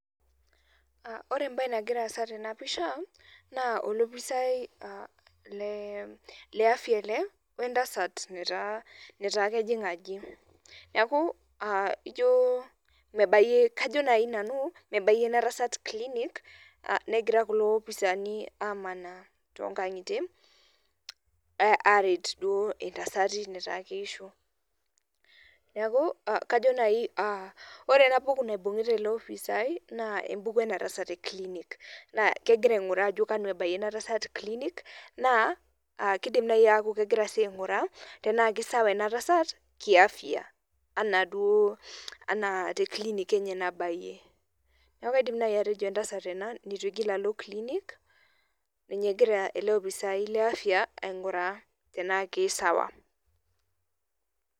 Ore ebae nagiraa aasa tena pisha naa olopisai le afya ele wee ntasati Neeta kejing' ajo. Neeku ijo mebayie kajo naji Nanu mebayie ina tasat clinic negira kulo opisani amaana too nkang'itie aret duo intasati Neeta keisho. Neeku kajo naji ore ena buku naibung'ita ILO opisani naa ebuku ena tasat ee clinic naa kegira aing'ura ajo kanu ebayie ina tasat clinic naa kidim naji aakh kegira aing'ura tenaa kisawa ena tasat kii afya ana duo enaa tee clinic enye nabayie neeku kaidim naji atejo entasat ena neitu igil alo clinic venye nagira ele opisai le afya aing'ura tena kei sawa.